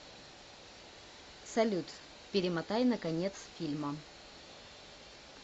салют перемотай на конец фильма